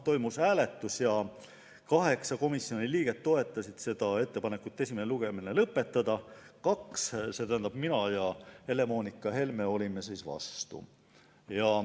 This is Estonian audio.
Toimus hääletus: 8 komisjoni liiget toetasid ettepanekut esimene lugemine lõpetada ning mina ja Helle-Moonika Helme olime vastu.